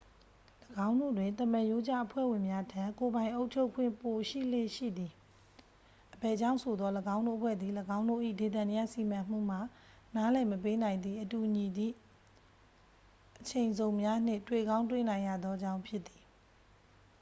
၎င်းတို့တွင် သမရိုးကျအဖွဲ့ဝင်များထက် ကိုယ်ပိုင်အုပ်ချုပ်ခွင့် ပိုရှိလေ့ရှိသည် အဘယ်ကြောင့်ဆိုသော် ၎င်းတို့အဖွဲ့သည် ၎င်းတို့၏ ဒေသန္တရ စီမံမှုမှ နားလည်မပေးနိုင်သည့် အတူညီသည့် အချိန်ဇုံများနှင့် တွေ့ကောင်းတွေ့နိုင်ရသောကြောင့်ဖြစ်သည်